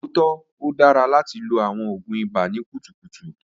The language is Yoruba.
O tọ, o dara lati lo awọn oògùn ibà ni kutukutu.